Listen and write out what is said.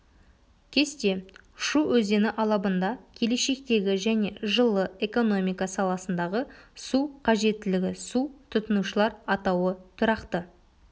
кесте шу өзені алабында келешектегі және жылы экономика саласындағы су қажеттілігі су тұтынушылар атауы тұрақты